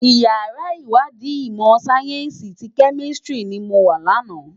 Iyàrá iwàdí imò sáyènsí ti Kèmìsítìrí ni mó wá làná